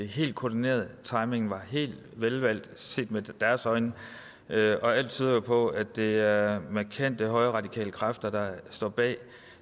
helt koordineret timingen var helt velvalgt set med deres øjne og alt tyder jo på at det er markante højreradikale kræfter der står bag